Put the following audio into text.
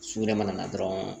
Su yɛrɛ mana na dɔrɔn